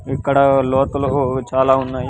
ఇక్కడ లోతులు చాలా ఉన్నాయి.